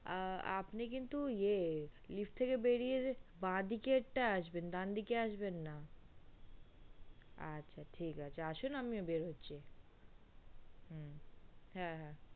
আ আপনে কিন্তু ইয়ে lift থেকে বেরিয়ে বা দিকের টাই আসবেন ডান দিকের টাই আসবেন না আচ্ছা আচ্ছা ঠিক আছে আসুন আমি বেরহচ্ছি হু হ্যা